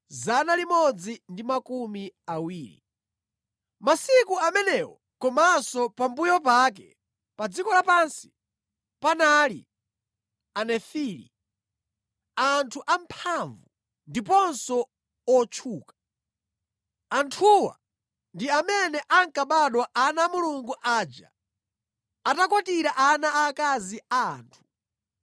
Masiku amenewo komanso pambuyo pake, pa dziko lapansi panali Anefili, anthu amphamvu ndiponso otchuka. Anthuwa ndi amene ankabadwa ana a Mulungu aja atakwatira ana aakazi a anthu.